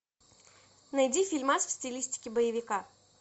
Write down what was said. найди фильмас в стилистике боевика